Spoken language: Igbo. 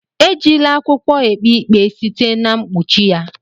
Ejila akwụkwọ ekpe ikpe site na mkpuchi ya.